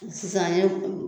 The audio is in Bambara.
Sisan an ye